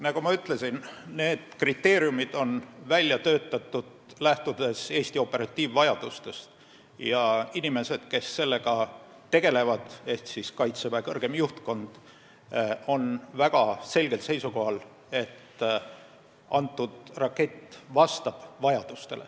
Nagu ma ütlesin, need kriteeriumid on välja töötatud lähtudes Eesti operatiivvajadustest ja inimesed, kes sellega tegelevad, ehk Kaitseväe kõrgem juhtkond on väga selgel seisukohal, et need raketid vastavad vajadustele.